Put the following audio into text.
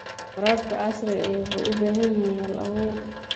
Waraabka casriga ahi wuxuu u baahan yahay hal-abuur.